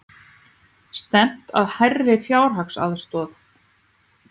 Stefnt að hærri fjárhagsaðstoð